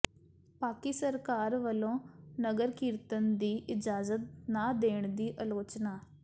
ਪਾਕਿ ਸਰਕਾਰ ਵੱਲੋਂ ਨਗਰ ਕੀਰਤਨ ਦੀ ਇਜਾਜ਼ਤ ਨਾ ਦੇਣ ਦੀ ਆਲੋਚਨਾ